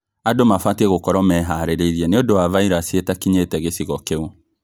Andũ mabatiĩ gũkorwo mehariirie nĩũndũ wa vairasi ĩtakinyĩte gĩcigo kĩu